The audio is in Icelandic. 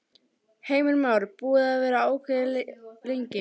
Heimir Már: Búið að vera ákveðið lengi?